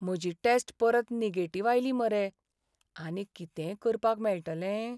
म्हजी टॅस्ट परत नॅगेटिव्ह आयली मरे. आनीक कितेंय करपाक मेळटले?